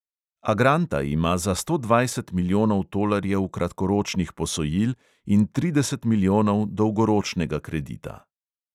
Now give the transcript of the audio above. Agranta ima za sto dvajset milijonov tolarjev kratkoročnih posojil in trideset milijonov dolgoročnega kredita.